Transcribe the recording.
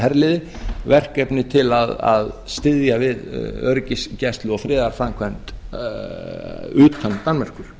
herliði verkefni til að styðja við öryggisgæslu og friðarframkvæmd utan danmerkur